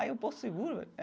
Aí eu, Porto Seguro?